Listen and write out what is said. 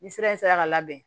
Ni sira in sera ka labɛn